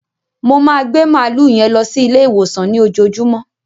Mo máa gbẹ màálú yẹn lọ sí Ilé ìwòsàn ní òjoojómọ́